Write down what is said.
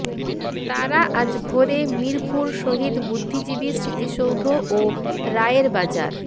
তারা আজ ভোরে মিরপুর শহীদ বুদ্ধিজীবী স্মৃতিসৌধ ও রায়েরবাজার